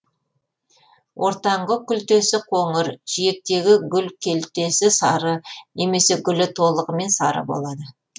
ортаңғы күлтесі қоңыр жиектегі гүл келтесі сары немесе гүлі толығымен сары болады